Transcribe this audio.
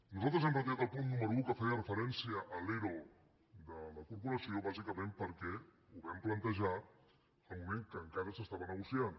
nosaltres hem retirat el punt número un que feia referència a l’ero de la corporació bàsicament perquè ho vam plantejar en el moment que encara s’estava negociant